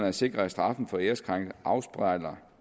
at sikre at straffen for æreskrænkelsen afspejler